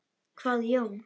hváði Jón.